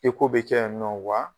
I ko bɛ kɛ yan nin nɔ wa